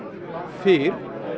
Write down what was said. fyrr